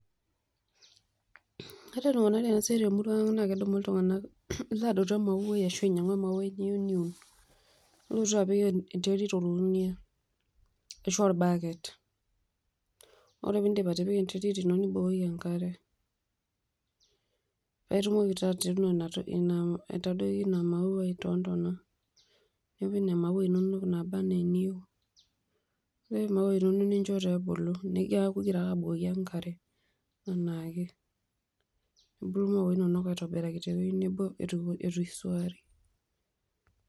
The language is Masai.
Kadol ltunganak enasiai temurua aang na kedumu ltunganak adotu ashu adumu emauai niyeu niun, nilotu apik enterit orkunia ashu orbaket ore peindip atipika enterit ino nimbooyo enkare paitumoki naabatipika inatoki ino etadoyie ina maua tontana, niun imaua inonok nabaa naa niyieu nincho ebulu neaku ingira ake abukoki enkare anaake ituuno tewueji nabo itusuari.